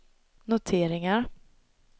noteringar